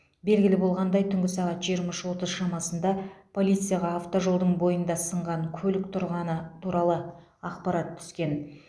белгілі болғандай түнгі сағат жиырма үш отыз шамасында полицияға автожолдың бойында сынған көлік тұрғаны туралы ақпарат түскен